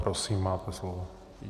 Prosím, máte slovo.